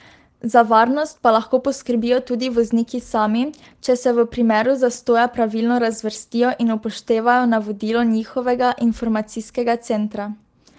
Za varnost pa lahko poskrbijo tudi vozniki sami, če se v primeru zastoja pravilno razvrstijo in upoštevajo navodilo njihovega informacijskega centra.